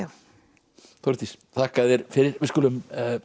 Þórdís þakka þér fyrir við skulum